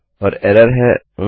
और एरर है Oh